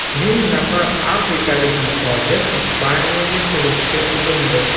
Ming nafar afrikalik muhojir Ispaniyaga kirishga urindi.